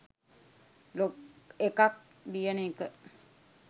blog එකක් ලියන එක